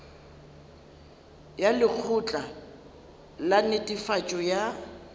ya lekgotla la netefatšo ya